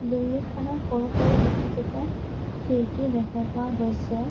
Building খনত সৰু সৰু বহুকেইটা খিৰিকী দেখা পোৱা গৈছে।